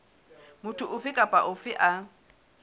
motho ofe kapa ofe a